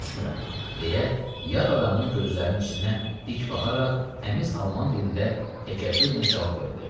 "Başa düşmürəm," deyə yad adamın gözlərinin içinə dik baxaraq təmiz alman dilində təkəbbürlə cavab verdi.